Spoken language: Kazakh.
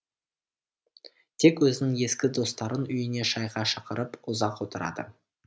тек өзінің ескі достарын үйіне шайға шақырып ұзақ отырады